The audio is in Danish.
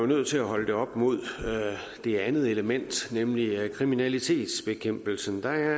nødt til at holde det op mod det andet element nemlig kriminalitetsbekæmpelsen der